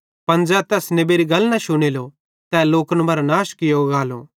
पन ज़ै तैस नेबेरी गल न शुनेलो तै लोकन मरां नाश कियो गालो